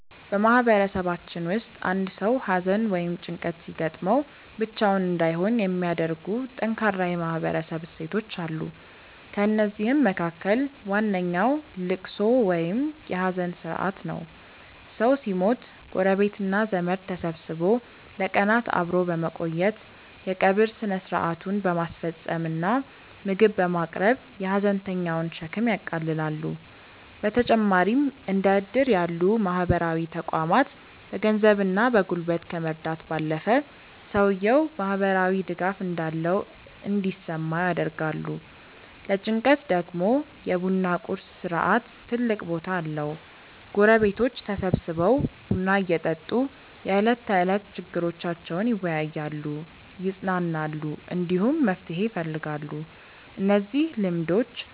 በማህበረሰባችን ውስጥ አንድ ሰው ሐዘን ወይም ጭንቀት ሲገጥመው ብቻውን እንዳይሆን የሚያደርጉ ጠንካራ የማህበረሰብ እሴቶች አሉ። ከእነዚህም መካከል ዋነኛው ልቅሶ ወይም የሐዘን ሥርዓት ነው። ሰው ሲሞት ጎረቤትና ዘመድ ተሰብስቦ ለቀናት አብሮ በመቆየት፣ የቀብር ሥነ ሥርዓቱን በማስፈጸም እና ምግብ በማቅረብ የሐዘንተኛውን ሸክም ያቃልላሉ። በተጨማሪም እንደ ዕድር ያሉ ማህበራዊ ተቋማት በገንዘብና በጉልበት ከመርዳት ባለፈ፣ ሰውየው ማህበራዊ ድጋፍ እንዳለው እንዲሰማው ያደርጋሉ። ለጭንቀት ደግሞ የ ቡና ቁርስ ሥርዓት ትልቅ ቦታ አለው፤ ጎረቤቶች ተሰብስበው ቡና እየጠጡ የዕለት ተዕለት ችግሮቻቸውን ይወያያሉ፣ ይጽናናሉ፣ እንዲሁም መፍትሄ ይፈልጋሉ። እነዚህ ልማዶች